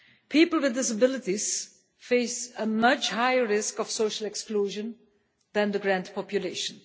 People with disabilities face a much higher risk of social exclusion than the greater population.